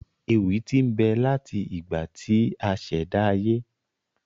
Ewì tí n bẹ láti ìgbà tí asèdá ayé